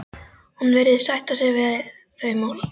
Hún virðist sætta sig við þau málalok.